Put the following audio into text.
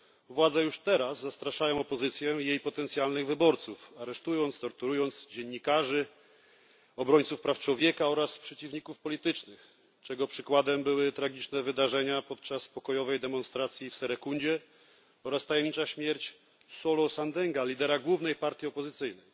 Władze już teraz zastraszają opozycję i jej potencjalnych wyborców, aresztując i torturując dziennikarzy, obrońców praw człowieka oraz przeciwników politycznych, czego przykładem były tragiczne wydarzenia podczas pokojowej demonstracji w Serekundzie oraz tajemnicza śmierć Solo Sandenga, lidera głównej partii opozycyjnej.